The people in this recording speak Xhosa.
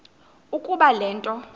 ukuba le nto